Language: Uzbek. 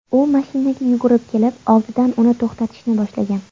U mashinaga yugurib kelib, oldidan uni to‘xtatishni boshlagan.